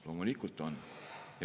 Loomulikult on.